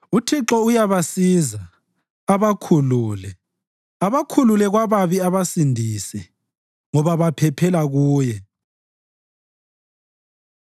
UThixo uyabasiza abakhulule; abakhulule kwababi abasindise, ngoba baphephela kuye.